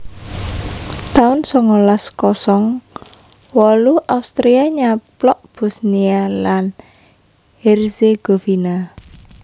taun songolas kosong wolu Austria nyaplok Bosnia lan Herzegovina